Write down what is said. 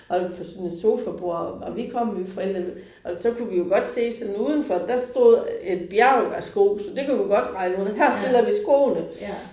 Og sådan et sofabord og vi kom jo forældrene og så kunne vi jo godt se sådan udenfor der stod et bjerg af sko, så det kunne vi godt regne ud at her stiller vi skoene